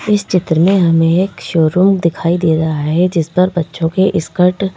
इस चित्र में हमें एक शोरूम दिखाई दे रहा है जिस पर बच्चों के स्कर्ट --